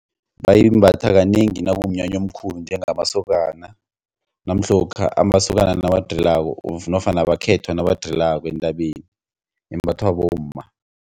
Bayimbatha kanengi nakumnyanya omkhulu njengamasokana namhlokha amasokana nawadrilako nofana abakhetha nabadrilako entabeni imbathwa bomma.